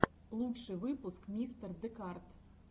лучший выпуск мистер декарт